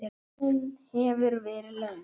Ferðin hefur verið löng.